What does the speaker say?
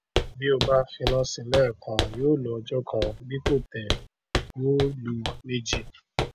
bí o bá finá síi léè kan yóò lo ọjó kan bí kò tẹ yóò lo méjì